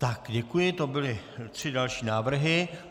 Tak, děkuji, to byly tři další návrhy.